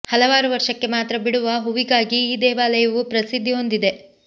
ಹಲವಾರು ವರ್ಷಕ್ಕೆ ಮಾತ್ರ ಬಿಡುವ ಹೂವಿಗಾಗಿ ಈ ದೇವಾಲಯವು ಪ್ರಸಿದ್ಧಿ ಹೊಂದಿದೆ